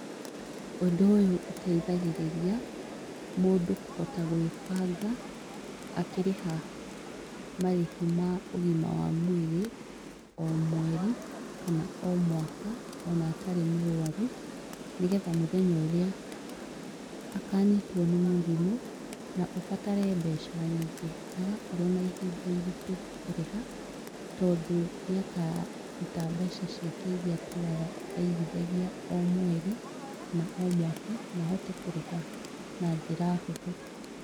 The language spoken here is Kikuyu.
Ũndũ ũyũ ũteithagĩrĩria, mũndũ kũhota gwĩbanga akĩriha marĩhi ma ũgima wa mwĩrĩ o mweri kana o mwaka, ona atarĩ mũrũaru nĩgetha mũthenya ũrĩa akanyitwo nĩ mũrimũ na ũbatare mbeca nyingĩ, ndagakorwo na ihinda iritũ kũrĩha tondu nĩakaruta mbeca ciake irĩa atũraga aigithagia o mweri kana o mwaka na ahote kũrĩha na njĩra hũthũ.